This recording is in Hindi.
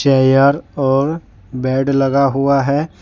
एयर और बेड लगा हुआ है।